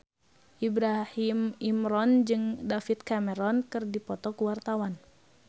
Ibrahim Imran jeung David Cameron keur dipoto ku wartawan